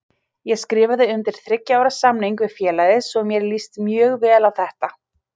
Ég skrifaði undir þriggja ára samning við félagið svo mér líst mjög vel á þetta.